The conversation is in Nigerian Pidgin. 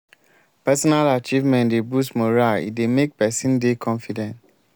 personal achievement dey boost morale e dey make person dey confident